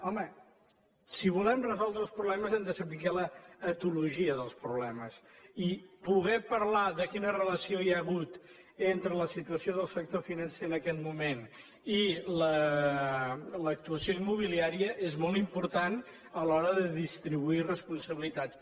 home si volem resoldre els problemes hem de saber l’etologia dels problemes i poder parlar de quina relació hi ha hagut entre la situació del sector financer en aquest moment i l’actuació immobiliària és molt important a l’hora de distribuir responsabilitats